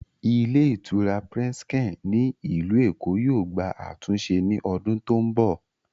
Ilé ìtura Presken ní ilù Èkó yóò gbà àtúnse ní odún tó ń bọ̀